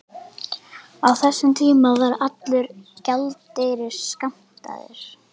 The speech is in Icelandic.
Á þessum tíma var allur gjaldeyrir skammtaður.